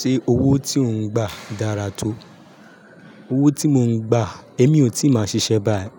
Ṣé owó tí ò ń gbà dára tó? Owó tí mò ń gbà, èmi ò tí máa ṣiṣẹ́ báyii,